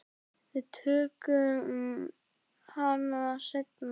Við tökum hana seinna.